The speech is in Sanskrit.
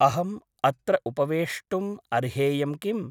अहम् अत्र उपवेष्टुम् अर्हेयं किम् ?